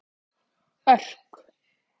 Örk